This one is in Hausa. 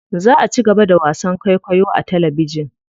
Za a cigaba da wasan kwaikwayo a talabijin.